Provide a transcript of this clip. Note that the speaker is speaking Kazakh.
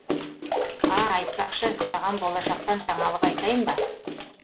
а айтпақшы саған болашақтан жаңалық айтайын ба